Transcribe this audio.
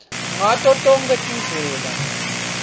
ngato tonkhe tindlela